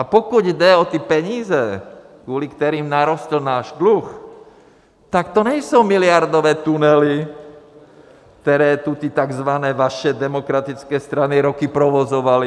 A pokud jde o ty peníze, kvůli kterým narostl náš dluh, tak to nejsou miliardové tunely, které tu ty tzv. vaše demokratické strany roky provozovaly.